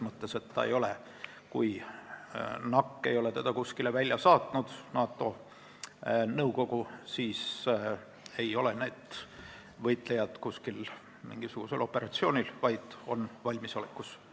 Kui NAC ehk NATO nõukogu ei ole seda kuskile välja saatnud, siis ei ole need võitlejad mingisugusel operatsioonil, vaid on Eestis valmisolekus.